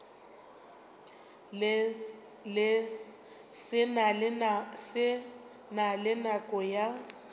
se na le nako ya